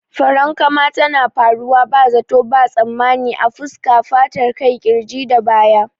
Farankama tana faruwa ba zato ba tsammani a fuska, fatar kai, kirji da baya.